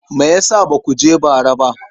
Me ya sa ba ku je ba bara?